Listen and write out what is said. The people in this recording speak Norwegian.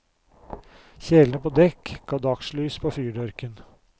Kjelene på dekk ga dagslys på fyrdørken.